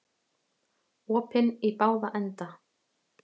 Opinn í báða enda